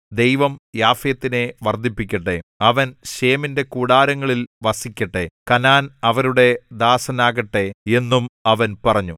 ദൈവം യാഫെത്തിനെ വർദ്ധിപ്പിക്കട്ടെ അവൻ ശേമിന്റെ കൂടാരങ്ങളിൽ വസിക്കട്ടെ കനാൻ അവരുടെ ദാസനാകട്ടെ എന്നും അവൻ പറഞ്ഞു